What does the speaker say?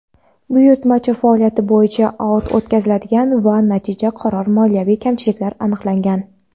buyurtmachi faoliyati bo‘yicha audit o‘tkazilgan va natijada qator moliyaviy kamchiliklar aniqlangan.